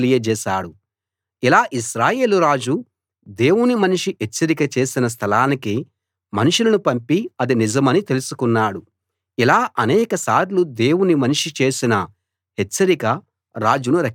ఇలా ఇశ్రాయేలు రాజు దేవుని మనిషి హెచ్చరిక చేసిన స్థలానికి మనుషులను పంపి అది నిజమని తెలుసుకున్నాడు ఇలా ఆనేకసార్లు దేవుని మనిషి చేసిన హెచ్చరిక రాజును రక్షించింది